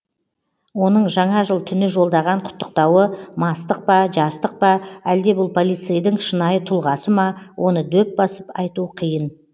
оның жаңа жыл түні жолдаған құттықтауы мастық па жастық па әлде бұл полицейдің шынайы тұлғасы ма оны дөп басып айту қиын